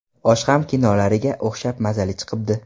Osh ham kinolariga o‘xshab mazali chiqibdi.